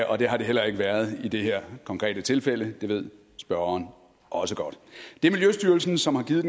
og det har det heller ikke været i det her konkrete tilfælde det ved spørgeren også godt det er miljøstyrelsen som har givet